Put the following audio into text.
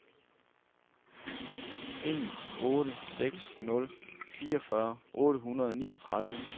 en otte seks nul fireogfyrre otte hundrede og niogtredive